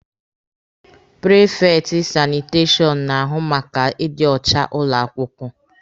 Prifekti sanitashọn na-ahụ maka ịdị ọcha ụlọ akwụkwọ.